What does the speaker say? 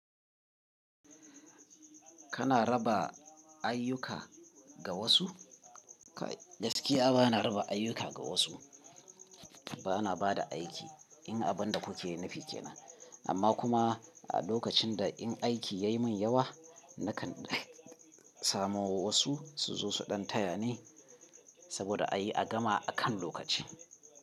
Kana raba ayyuka ga wasu? Gaskiya ba na raba ayyuka ga wasu, ba na ba da aiki in abin da kuke nufi ke nan. Amma kuma a lokacin da in aiki ya yi min yawa, nakan samo wasu su zo su ɗan taya ni saboda a yi a gama a kan lokaci.